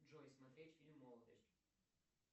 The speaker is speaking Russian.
джой смотреть фильм молодость